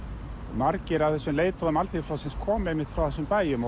margir af þessum leiðtogum Alþýðuflokksins komu einmitt frá þessum bæjum